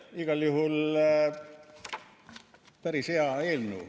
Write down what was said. Igal juhul päris hea eelnõu.